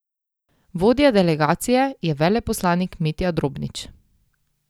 Vodja delegacije je veleposlanik Mitja Drobnič.